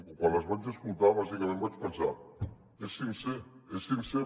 quan les vaig escoltar bàsicament vaig pensar és sincer és sincer